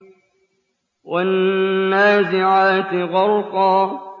وَالنَّازِعَاتِ غَرْقًا